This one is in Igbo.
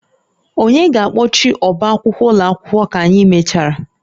Onye ga-akpọchi ọbá akwụkwọ ụlọ akwụkwọ ka anyị mechara?